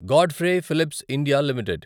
Godfrey Phillips India limited